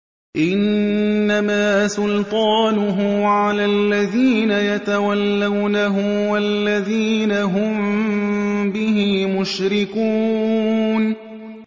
إِنَّمَا سُلْطَانُهُ عَلَى الَّذِينَ يَتَوَلَّوْنَهُ وَالَّذِينَ هُم بِهِ مُشْرِكُونَ